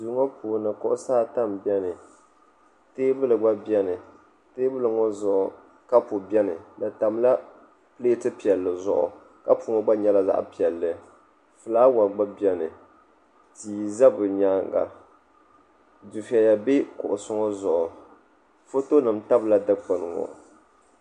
Duu ŋɔ puuni kuɣusi ata m-beni teebuli gba beni teebuli ŋɔ zuɣu kapu beni di tamla pileeti piɛlli zuɣu kapu ŋɔ gba nyɛla zaɣ'piɛlli fulaawa gba beni tia za bɛ nyaaŋa dufɛya be kuɣusi ŋɔ zuɣu fotonima tabila dukpuni ŋɔ.